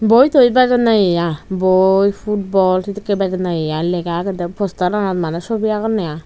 boi toi bejonne ye aa boi putball sidikke bejonne ye aa lega agede postaranot mane sobi agonne aa.